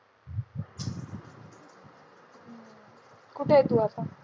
कुठे आहे तू आत्ता?